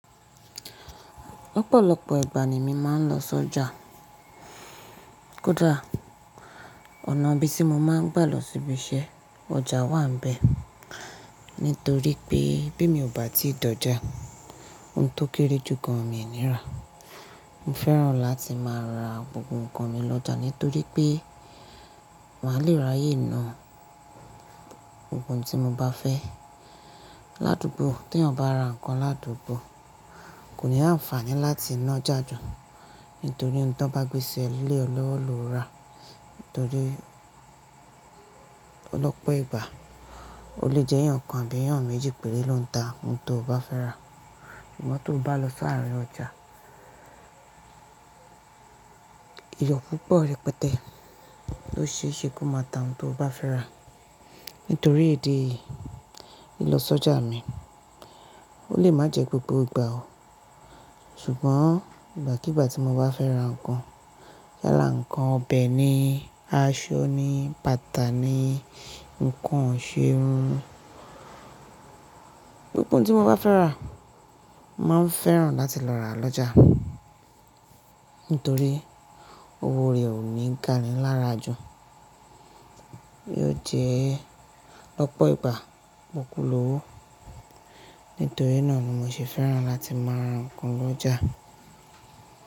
Lọ́pọ̀lọ́pọ̀ ìgbà ni mi máa ń lọ sọ́jà. Koda ọ̀nà bí tí mo máa ń gbà lọ sí ibi iṣẹ́, ọjà wà níbẹ̀. Nítorí pé bí mo bá ti dọjà, ohun tó kéré jù gán mi ò ní rà. Mo fẹ́ràn láti máa ra gbogbo nǹkan mi lọ́jà nítorí pé, màá lè ráyè náà ohun tí mo bá fẹ́. Ládùúgbọ̀ tí ẹni bá ra nǹkan ládùúgbọ̀, kò ní àǹfààní láti ná ojá jù. Nítorí ohun tí wọ́n bá gbé sẹ lélẹ̀ ọlọ́wọ́ ló rà. Nítorí lọ́pọ̀ ìgbà, ó lè jẹ́ ìyàn kan àbí ìyàn méjì pèré ló ń tá ohun tí o bá fẹ́ rà. Sùgbọ́n tí o bá lọ sárin ọjà, eyan púpọ̀ rẹpẹtẹ ló ṣe é ṣe kí o máa tà ohun tí o bá fẹ́ rà. Nítorí idi eyìí, lilọ sọ́jà mi, ó lè má jẹ́ gbogbo ìgbà o. Sùgbọ́n ìgbà kí ìgbà tí mo bá fẹ́ ra nǹkan, yala nǹkan ọbẹ̀ ni, aṣọ ní, bata ní, nǹkan isèrún. GBogbo ohun tí mo bá fẹ́ rà, máa ń fẹ́ràn láti lọ rà lọ́jà. Nítorí owó rẹ̀ ò ní ìgáni lára jù. Yóò jẹ́ lọ́pọ̀ ìgbà, pọ́kù lówó. Nítorí náà ni mo ṣe fẹ́ràn láti máa ra nǹkan lọ́jà.